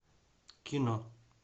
кино